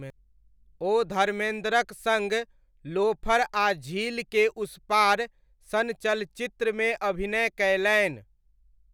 ओ धर्मेन्द्रक सङ्ग लोफर आ झील के उस पार सन चलचित्रमे अभिनय कयलनि।